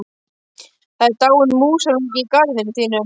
Það er dáinn músarungi í garðinum þínum.